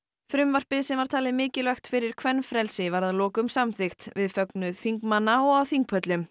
frumvarpið sem var talið mikilvægt fyrir kvenfrelsi var að lokum samþykkt við fögnuð þingmanna og á þingpöllum